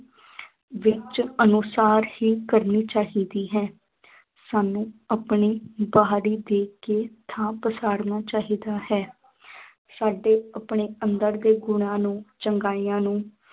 ਵਿੱਚ ਅਨੁਸਾਰ ਹੀ ਕਰਨੀ ਚਾਹੀਦੀ ਹੈ ਸਾਨੂੰ ਆਪਣੀ ਬਾਹਰੀ ਦੇਖ ਕੇ ਥਾਂ ਪਛਾੜਣਾ ਚਾਹੀਦਾ ਹੈ ਸਾਡੇ ਆਪਣੇ ਅੰਦਰ ਦੇ ਗੁਣਾਂ ਨੂੰ ਚੰਗਿਆਈਆਂ ਨੂੰ